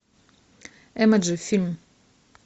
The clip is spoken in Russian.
эмоджи фильм